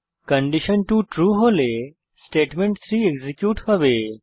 condition two true হলে statement three execute হবে